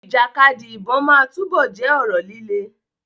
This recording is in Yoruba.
Ìjàkadì ìbọn máa túbọ̀ jẹ́ ọ̀rọ̀ líle.